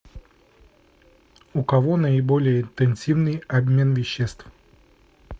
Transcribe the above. у кого наиболее интенсивный обмен веществ